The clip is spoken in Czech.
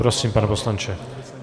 Prosím, pane poslanče.